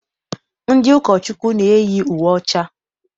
Ndị ụkọchukwu na-eyi uwe ọcha.